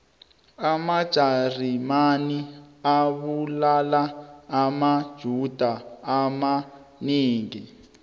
amajarimane abulala amajuda amanengi